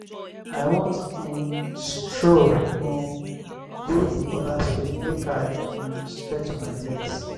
i wan um stroll um go di oda street make i um stretch my legs.